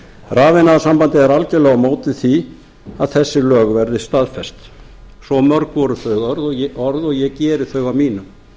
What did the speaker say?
rafiðnaðarsambandið er algerlega á móti því að þessi lög verði staðfest svo mörg voru þau orð og ég geri þau að mínum